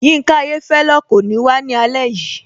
Yinka Ayéfẹ́lẹ́ kò ní wá ní alẹ́ yìí